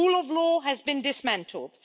The rule of law has been dismantled.